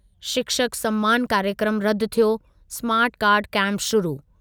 शिक्षक सम्मानु कार्यक्रमु रदि थियो, स्मार्ट कार्डु कैंपु शुरु